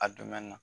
A dumɛn na